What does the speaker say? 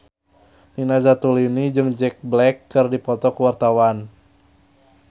Nina Zatulini jeung Jack Black keur dipoto ku wartawan